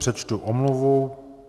Přečtu omluvu.